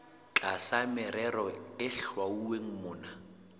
tlasa merero e hlwauweng mona